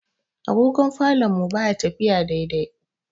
Agogon falon mu baya tafiya daidai.